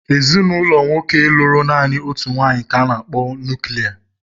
Ezinụlọ nwoke lụrụ naanị otu nwaanyị ka a na-akpọ nuklia.